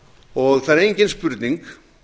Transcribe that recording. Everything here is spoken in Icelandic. og það er engin spurning